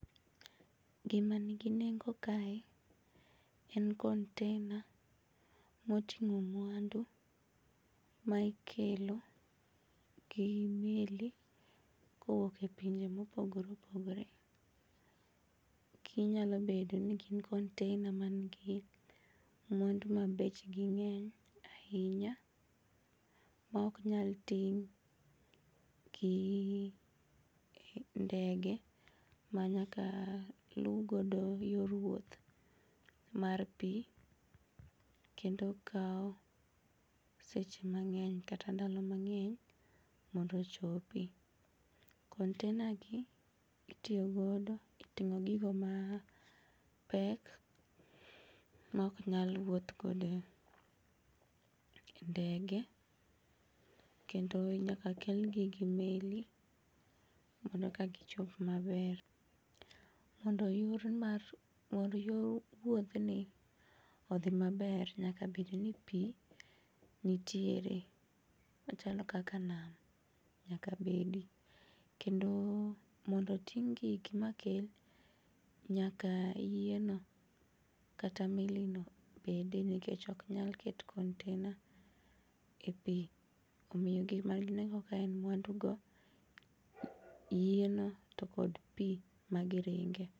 Gimanigi nengo kae en container moting'o mwandu ma ikelo gi meli kowuoke pinje mopogore opogore. Ginyalo bedo ni gin container manigi mwandu mabechgi ng'eny ainya ma oknyal ting' gi ndege ma nyaka lugodo yor wuoth mar pii kendo kao seche mang'eny kata ndalo mang'eny mondo chopi. Container gi itiyogodo e ting'o gigo mapek ma oknyal wuothgodo e ndege kendo nyaka kelgi gi meli mondo eka gichop maber. Mondo yor mar, yor wuodhni odhi maber nyaka bedni pii nitiere machalo kaka nam nyakabedi kendo mondo ting'gi makel nyaka yieno kata melino bedi nikech oknyal ket container ee pii. Omiyo gima ginego ka en mwandugo yieno to kod pii magiringe.